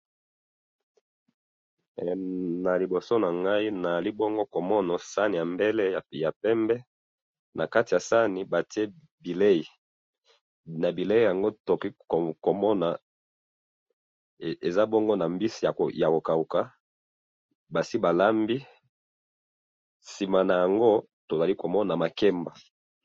he na liboso nangayi nazali bongo komona sahani ya mbele ya pembe nakati ya sahani batiye bileyi nakati ya bileyi nango tozali komona mbisi ya kokahuka na sima nayango tozomona makemba